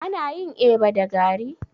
Ana yin eba da gari?